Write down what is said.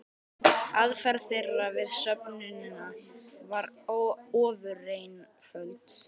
Aðferð þeirra við söfnunina var ofureinföld.